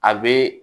A be